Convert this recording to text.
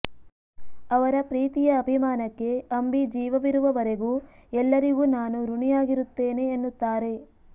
ಅವರ ಪ್ರೀತಿಯ ಅಭಿಮಾನಕ್ಕೆ ಅಂಬಿ ಜೀವವಿರುವವರೆಗೂ ಎಲ್ಲರಿಗೂ ನಾನು ಋಣಿಯಾಗಿರುತ್ತೇನೆ ಎನ್ನುತ್ತಾರೆ